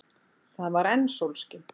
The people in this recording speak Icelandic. Það var enn sólskin.